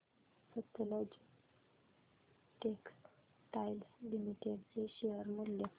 Sutlej Textiles Limited चे share मूल्य